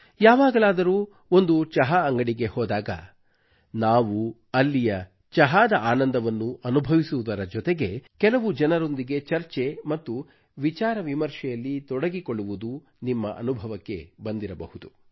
ಯಾವಾಗಲಾದರೂ ಒಂದು ಚಹಾ ಅಂಗಡಿಗೆ ಹೋದಾಗ ನಾವು ಅಲ್ಲಿಯ ಚಹಾದ ಆನಂದವನ್ನು ಅನುಭವಿಸುವುದರ ಜೊತೆಗೆ ಕೆಲವು ಜನರೊಂದಿಗೆ ಚರ್ಚೆ ಮತ್ತು ವಿಚಾರ ವಿಮರ್ಶೆಯಲ್ಲಿ ತೊಡಗಿಕೊಳ್ಳುವುದು ನಿಮ್ಮ ಅನುಭವಕ್ಕೆ ಬಂದಿರಬಹುದು